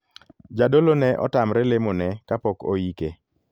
Jadolo ne otamre lemo ne kapok oike.